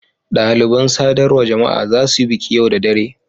Dalibain sadarwa jama'a za su yi biki yau da dare.